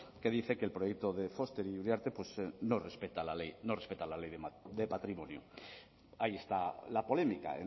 que dice que el proyecto de foster y uriarte no respeta la ley de patrimonio ahí está la polémica